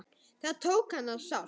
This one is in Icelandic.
Það tók hana sárt.